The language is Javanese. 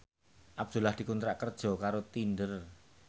Abdullah dikontrak kerja karo Tinder